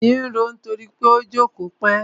Èyìn ń roó nítorí pó jókòó pẹ́.